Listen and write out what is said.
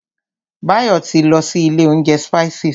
Báyọ̀ ti lọ sí ilé oúnjẹ Spices.